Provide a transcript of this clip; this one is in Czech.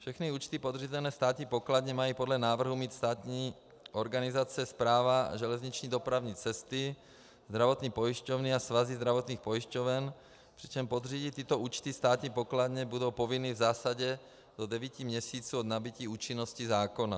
Všechny účty podřízené státní pokladně mají podle návrhu mít státní organizace Správa železniční dopravní cesty, zdravotní pojišťovny a svazy zdravotních pojišťoven, přičemž podřídit tyto účty státní pokladně budou povinny v zásadě do devíti měsíců od nabytí účinnosti zákona.